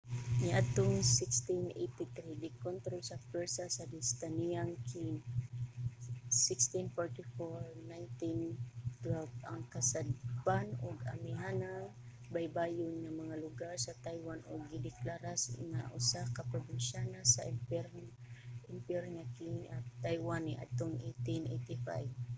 niadtong 1683 gikontrol sa pwersa sa dinastiyang qing 1644-1912 ang kasadpan ug amihanang baybayon nga mga lugar sa taiwan ug gideklara nga usa ka probinsya sa imperyo sa qing ang taiwan niadtong 1885